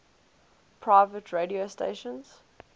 private radio stations